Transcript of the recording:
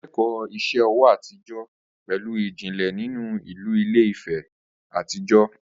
Ó kẹ́kọ̀ọ́ iṣẹ́ ọwọ́ àtijọ́ pẹ̀lú ìjìnlẹ̀ ìjìnlẹ̀ nínú ìlú Ilé-Ife àtijọ́